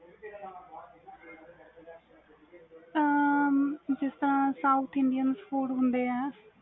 ਜਿਸ ਤਰਾਂ South Indian food ਹੁੰਦੇ ਵ